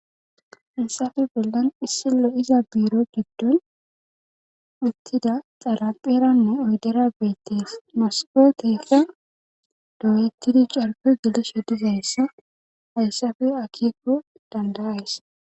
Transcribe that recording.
Hesafe bollon issi lo'iza biiro giddon uttida xalaqeranne oydera beettees moske keefa doyettidi carpo gelesho dizayssa hayssafe akikko dandayays